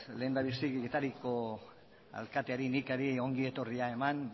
lehendabizi getariako alkateari nikari ongi etorria eman